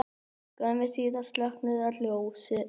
Skömmu síðar slokknuðu öll ljós.